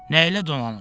Nəylə dolanım?